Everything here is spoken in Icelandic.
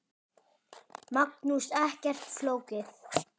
Magnús: Ekkert flókið?